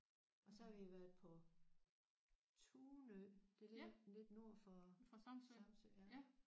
Og så har vi været på Tunø det ligger lidt nord for Samsø ja